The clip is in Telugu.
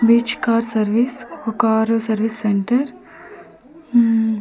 బీచ్ కార్ సర్వీస్ ఓ కారు సర్వీస్ సెంటర్ ఉం--